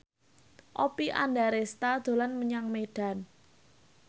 Oppie Andaresta dolan menyang Medan